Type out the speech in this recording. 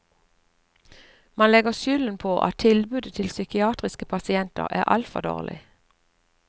Mange legger skylden på at tilbudet til psykiatriske pasienter er altfor dårlig.